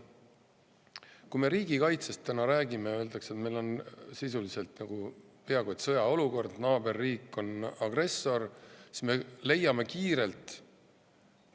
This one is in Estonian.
Kui me riigikaitsest täna räägime, ja kui öeldakse, et meil on sisuliselt peaaegu sõjaolukord, naaberriik on agressor, siis me leiame kohe kiirelt